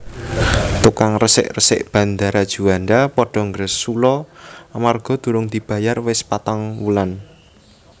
Tukang resik resik Bandara Juanda podo ngersula amarga durung dibayar wis patang wulan